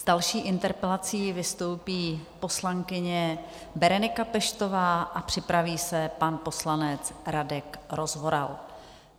S další interpelací vystoupí poslankyně Berenika Peštová a připraví se pan poslanec Radek Rozvoral.